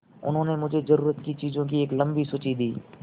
उन्होंने मुझे ज़रूरत की चीज़ों की एक लम्बी सूची दी